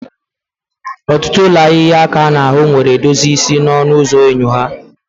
Ọtụtụ ụlọ ahịa ịhịa aka n'ahụ nwere edozi isi n'ọnụ ụzọ enyo ha.